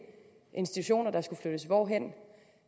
institutioner der skulle flyttes hvorhen